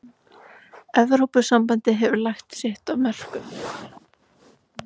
Evrópusambandið hefur lagt sitt af mörkum.